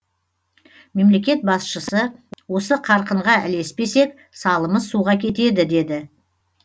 мемлекет басшысы осы қарқынға ілеспесек салымыз суға кетеді деді